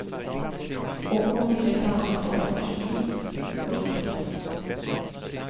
Och hon ville ta ansvar för sitt liv. punkt